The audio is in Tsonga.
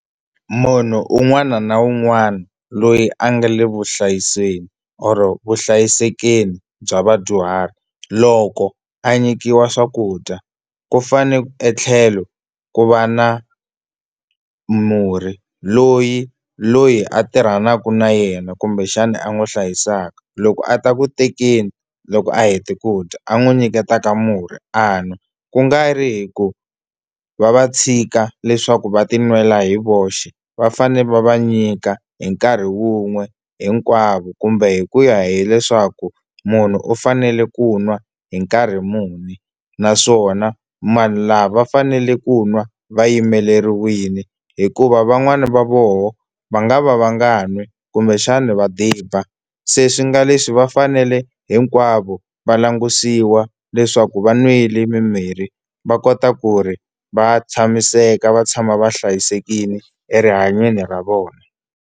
Munhu un'wana na un'wana loyi a nga le vuhlayiseni or vuhlayisekeni bya vadyuhari loko a nyikiwa swakudya ku fane etlhelo ku va na murhi loyi loyi a tirhanaka na yena kumbexana a n'wi hlayisaka loko a ta ku tekeni loko a hete ku dya a n'wi nyiketaka murhi a nwa ku nga ri hi ku va va tshika leswaku va ti nwela hi voxe va fane va va nyika hi nkarhi wun'we hinkwavo kumbe hi ku ya hileswaku munhu u fanele ku nwa hi nkarhi muni naswona lava va fanele ku nwa va yimeleriwile hikuva van'wani va voho va nga va va nga n'wi kumbexana va diba se swi nga leswi va fanele hinkwavo va langutisiwa leswaku va nwile mimirhi va kota ku ri va tshamiseka va tshama va hlayisekile erihanyweni ra vona.